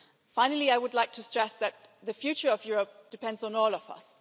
Finally, I would like to stress that the future of Europe depends on all of us.